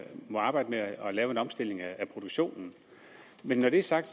må arbejde med at lave en omstilling af produktionen men når det er sagt